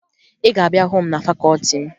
Ị ga-abịa hụ m na fakọọti m!